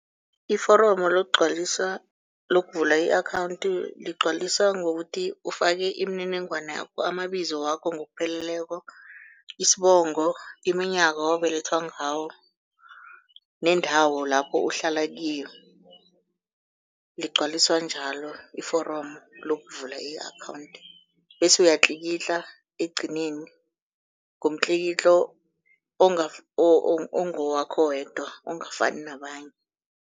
Iforomo lokugcwaliswa lokuvula i-akhawunthi, ligcwaliswa ngokuthi ufake imininingwana yakho, amabizo wakho ngokupheleleko, isibongo, iminyaka owabelethwa ngawo nendawo lapho uhlala kiyo. Ligcwaliswa njalo iforomo lokuvula i-akhawunthi bese uyatlikitla ekugcineni ngomtlikitlo ongowakho wedwa ongafani nabanye.